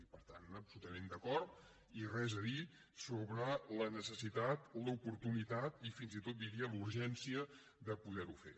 i per tant absolutament d’acord i res a dir sobre la necessitat l’oportunitat i fins i tot diria la urgència de poder ho fer